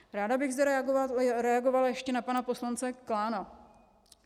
Ráda bych zareagovala ještě na pana poslance Klána.